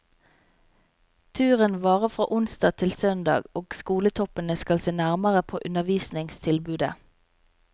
Turen varer fra onsdag til søndag, og skoletoppene skal se nærmere på undervisningstilbudet.